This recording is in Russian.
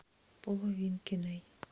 половинкиной